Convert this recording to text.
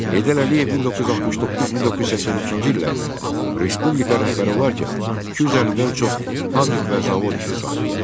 Heydər Əliyev 1969-1982-ci illərdə respublika rəhbəri olarkən 250-dən çox fabrik və zavod işə salındı.